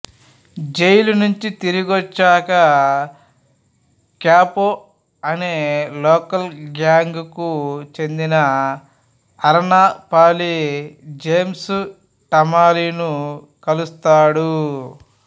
jail నుంచి తిరిగొచ్చాక Capo అనే లోకల్ గ్యాంగ్ కు చెందిన అరన పాలీ జేమ్స్ టామీలను కలుస్తాడు